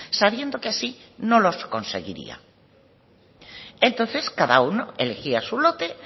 sabiendo así que no los conseguiría entonces cada uno elegía su lote